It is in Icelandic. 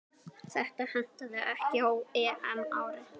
Þetta hentaði ekki á EM-ári.